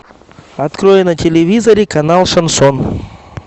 открой на телевизоре канал шансон